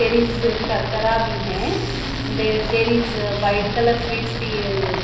there is there there is white colour sweets --